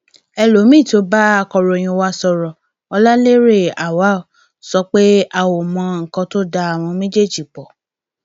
elomiín tó bá akọròyìn wa sọrọ ọláléré awaw sọ pé a ò mọ nǹkan tó da àwọn méjèèjì pọ